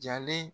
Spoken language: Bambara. Jalen